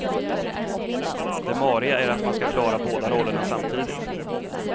Det mariga är att man ska klara båda rollerna samtidigt.